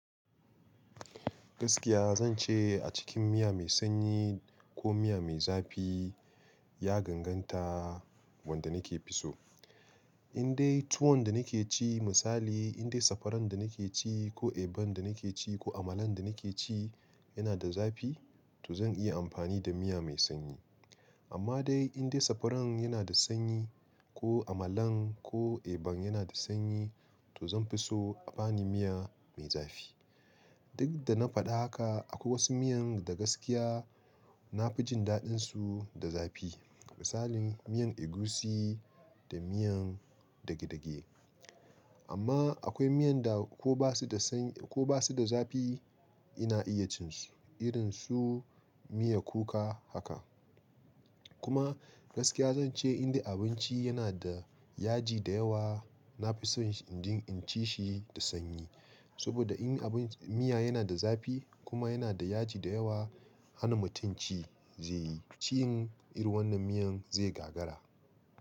Gaskiya zan ce a cikin miya mai sanyi ko miya mai zafi, ya ganganta wanda nake fi so. In dai tuwon da nake ci misali, in dai sakwaran da nake ci ko eban da nake ci ko amalan da nake ci yana da zafi, to zan iya amfani da miya mai sanyi. Amma dai in dai sakwaran yana da sanyi ko amalan ko eban yana da sanyi, to zan fi so abani miya mai zafi. Duk da na faɗi haka, akwai wasu miyan da gaskiya na fi jin daɗinsu da zafi. Misalin miyan egusi da miyan dage dage. Amma akwai miyan da ko ba su da sanyi ko ba su da zafi ina iya cin su, irin su miya kuka haka. Kuma gaskiya zan ce in dai abinci yana da yaji da yawa, na fi son injin inci shi da sanyi. Saboda in abin, miya yana da zafi kuma yana da yaji da yawa, hana mutum ci zai yi. Cin irin wannan miyan zai gagara.